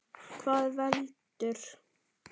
Hvað veldur?